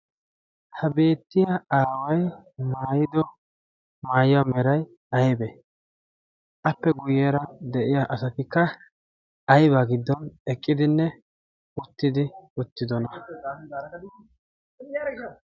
ha beettiya aaway mayido maayiya meray aybe appe guyyeera de'iya asatikka aiba giddon eqqidinne uttidi uttidona.